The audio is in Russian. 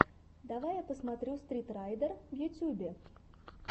давай я посмотрю стритрайдер в ютьюбе